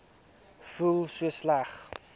voel so sleg